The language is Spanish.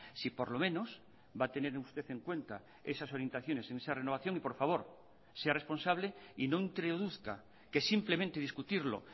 si por lo menos va a tener usted en cuenta esas orientaciones en esa renovación y por favor sea responsable y no introduzca que simplemente discutirlo